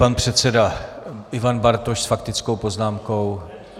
Pan předseda Ivan Bartoš s faktickou poznámkou.